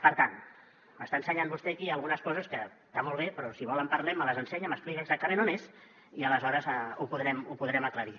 per tant m’està ensenyant vostè aquí algunes coses que està molt bé però si vol en parlem me les ensenya m’explica exactament on és i aleshores ho podrem aclarir